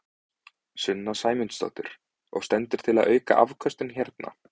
Sunna Sæmundsdóttir: Og stendur til að auka afköstin hérna?